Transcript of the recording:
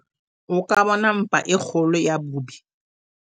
o ka bona mpa e kgolo ya bobi